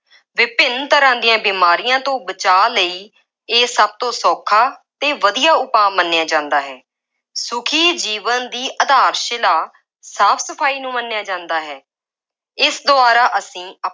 ਵਿਭਿੰਨ ਤਰ੍ਹਾਂ ਦੀਆਂ ਬੀਮਾਰੀਆਂ ਤੋਂ ਬਚਾਅ ਲਈ ਇਹ ਸਭ ਤੋਂ ਸੌਖਾ ਅਤੇ ਵਧੀਆ ਉਪਾਅ ਮੰਨਿਆ ਜਾਂਦਾ ਹੈ। ਸੁਖੀ ਜੀਵਨ ਦੀ ਆਧਾਰ-ਸ਼ਿਲਾ ਸਾਫ ਸਫਾਈ ਨੂੰ ਮੰਨਿਆ ਜਾਂਦਾ ਹੈ। ਇਸ ਦੁਆਰਾ ਅਸੀਂ ਆ~